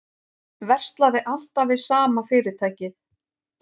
Verslaði alltaf við sama fyrirtækið